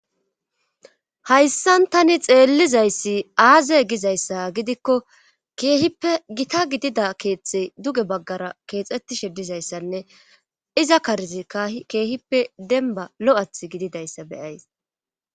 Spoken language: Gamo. Hayssan tani xeelizayssi aaze gizayssa gidikko keehippe gita gidida keethi duge bagara keexetishe dizaysanne iza karezikka keehippe demba lo'ethi gididayssa be'ays.